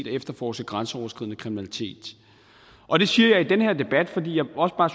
efterforske grænseoverskridende kriminalitet og det siger jeg i den her debat fordi jeg også bare